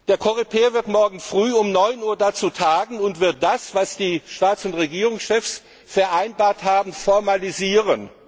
Der Coreper wird morgen früh um 9 Uhr dazu tagen und das, was die Staats und Regierungschefs vereinbart haben, formalisieren.